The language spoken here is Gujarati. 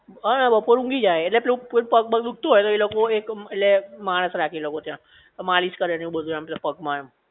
અને બપોરે ઊંઘી જાયે ઍટલે પેલું કોઈ પગ બગ દુખતું હોય તો એ લોકો એક ઍટલે માણસ રાખે એ લોકો ત્યાં તો માલિશ કરે ને એવું બધુ પગ માં